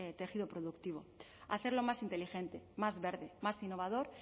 tejido productivo hacerlo más inteligente más verde más innovador